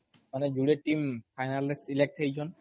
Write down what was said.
ମାନେ ଯୁଡେ tea ଫାଇନାଲରେ ସିଲେକ୍ଟ ହେଇଛନ୍